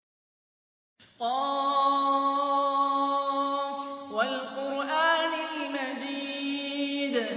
ق ۚ وَالْقُرْآنِ الْمَجِيدِ